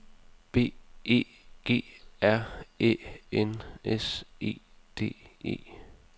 B E G R Æ N S E D E